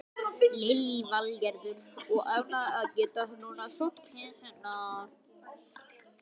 Lillý Valgerður: Og ánægð að geta núna sótt kisurnar?